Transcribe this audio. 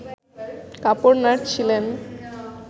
কাপড় নাড়ছিলেন